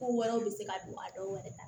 Ko wɛrɛw bɛ se ka don a dɔw yɛrɛ la